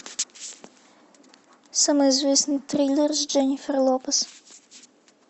самый известный триллер с дженнифер лопес